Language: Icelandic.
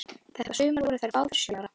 Þetta sumar voru þær báðar sjö ára.